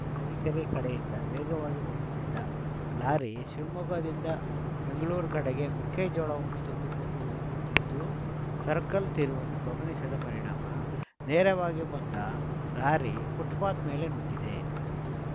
ತರೀಕೆರೆ ಕಡೆಯಿಂದ ವೇಗವಾಗಿ ಬರುತ್ತಿದ್ದ ಲಾರಿ ಶಿವಮೊಗ್ಗದಿಂದಬೆಂಗಳೂರು ಕಡೆಗೆ ಮೆಕ್ಕೆಜೋಳವನ್ನು ತುಂಬಿಕೊಂಡು ಹೋಗುತ್ತಿದ್ದು ಸರ್ಕಲ್‌ ತಿರುವನ್ನು ಗಮನಿಸದ ಪರಿಣಾಮ ನೇರವಾಗಿ ಬಂದ ಲಾರಿ ಫುಟ್‌ಪಾತ್‌ ಮೇಲೆ ನುಗ್ಗಿದೆ